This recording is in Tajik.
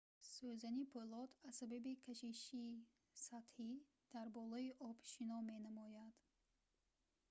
сӯзани пӯлод аз сабаби кашиши сатҳӣ дар болои об шино менамояд